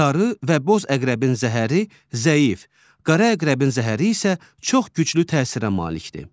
Sarı və boz əqrəbin zəhəri zəif, qara əqrəbin zəhəri isə çox güclü təsirə malikdir.